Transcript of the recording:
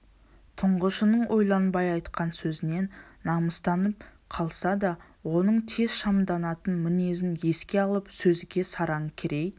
тұңғышының ойланбай айтқан сөзінен намыстанып қалса да оның тез шамданатын мінезін еске алып сөзге сараң керей